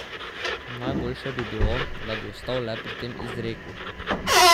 Najboljše bi bilo, da bi ostal le pri tem izreku.